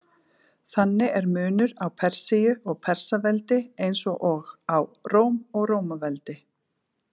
Þannig er munur á Persíu og Persaveldi, eins og á Róm og Rómaveldi.